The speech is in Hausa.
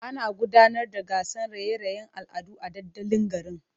Ana gudanar da gasar raye-rayen al'adu a dandalin garin.